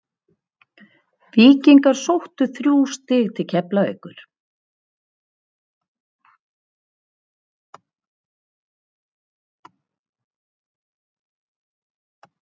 Víkingar sóttu þrjú stig til Keflavíkur.